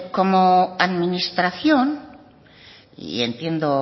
como administración y entiendo